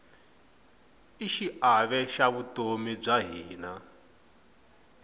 i xiave xa vutomi bya hina